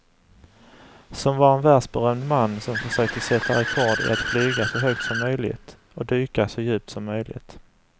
Som var en världsberömd man som försökte sätta rekord i att flyga så högt som möjligt och dyka så djupt som möjligt.